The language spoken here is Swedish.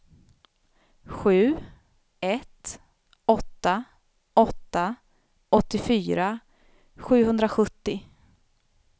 sju ett åtta åtta åttiofyra sjuhundrasjuttio